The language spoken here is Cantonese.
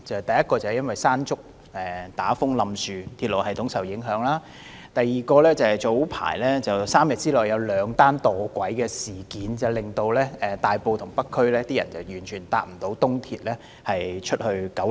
第一次是因為颱風"山竹"導致塌樹，令鐵路系統受到影響；第二次則是早前在3天之內兩度發生有人墮軌的事件，以致大埔和北區市民未能使用東鐵線前往九龍。